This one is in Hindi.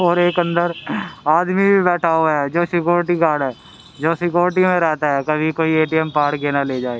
और एक अंदर आदमी भी बैठा हुआ है जो सिक्योरिटी गार्ड है जो सिक्योरिटी में रहता है कभी कोई ए_टी_एम फाड़ के ना ले जाए।